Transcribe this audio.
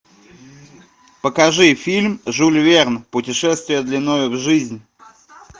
покажи фильм жюль верн путешествие длиною в жизнь